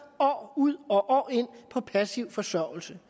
år ud og år ind på passiv forsørgelse